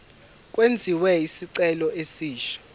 kwenziwe isicelo esisha